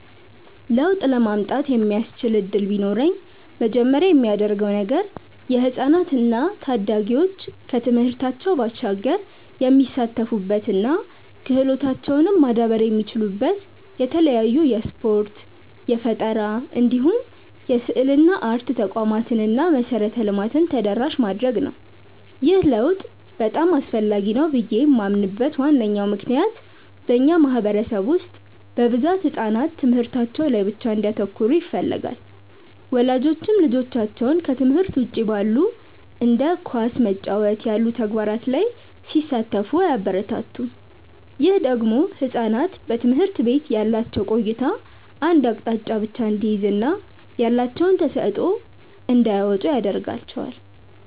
ለውጥ ለማምጣት የሚያስችል እድል ቢኖረኝ መጀመሪያ ማደርገው ነገር የህፃናት እና ታዳጊዎች ከትምህርታቸው ባሻገር የሚሳተፉበት እና ክህሎታቸውም ማዳበር የሚችሉበት የተለያዩ የስፖርት፣ የፈጠራ እንዲሁም የስዕልና አርት ተቋማትን እና መሰረተ ልማትን ተደራሽ ማድረግ ነው። ይህ ለውጥ በጣም አስፈላጊ ነው ብዬ ማምንበት ዋነኛ ምክንያት በእኛ ማህበረሰብ ውስጥ በብዛት ህጻናት ትምህርታቸው ላይ ብቻ እንዲያተኩሩ ይፈለጋል። ወላጆችም ልጆቻቸው ከትምህርት ውጪ ባሉ እንደ ኳስ መጫወት ያሉ ተግባራት ላይ ሲሳተፉ አያበረታቱም። ይህ ደግሞ ህጻናት በትምህርት ቤት ያላቸው ቆይታ አንድ አቅጣጫን ብቻ እንዲይዝ እና ያላቸውን ተሰጥዖ እንዳያወጡ ያረጋቸዋል።